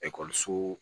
Ekɔliso